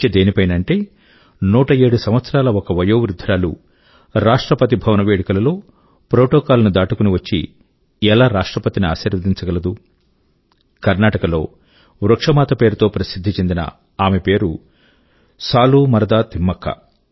చర్చ దేనిపైనంటే 107 సంవత్సరాల ఒక వయోవృధ్ధురాలు రాష్ట్రపతి భవన వేడుకల లో ప్రోటోకాల్ ని దాటుకుని వచ్చి ఎలా రాష్ట్రపతి ని ఆశీర్వదించగలదు కర్నాటక లో వృక్ష మాత పేరు తో ప్రసిధ్ధి చెందిన ఆమె పేరు సాలూమరదా తిమ్మక్క